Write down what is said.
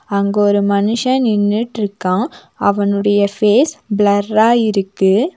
அங்க ஒரு மனுஷ நின்னுற்றுக்கா அவனோட ஃபேஸ் பிளர்ரா இருக்கு.